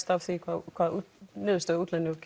af því hvaða niðurstöðu